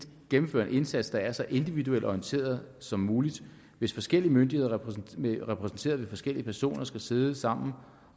gennemføre en indsats der er så individuelt orienteret som muligt hvis forskellige myndigheder repræsenteret repræsenteret ved forskellige personer skal sidde sammen